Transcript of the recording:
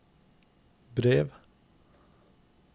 brev